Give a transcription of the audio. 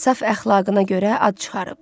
Saf əxlaqına görə ad çıxarıb.